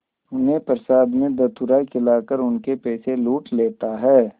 उन्हें प्रसाद में धतूरा खिलाकर उनके पैसे लूट लेता है